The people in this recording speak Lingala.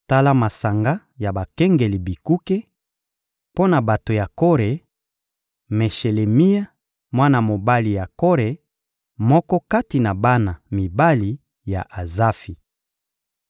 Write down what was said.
Tala masanga ya bakengeli bikuke: Mpo na bato ya Kore: Meshelemia, mwana mobali ya Kore, moko kati na bana mibali ya Azafi.